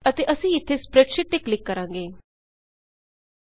ਅਤੇ ਅਸੀਂ ਇੱਥੇ ਸਪ੍ਰੈਡਸ਼ੀਟ ਸਪ੍ਰੈਡਸ਼ੀਟ ਤੇ ਕਲਿੱਕ ਕਰਾਂਗੇ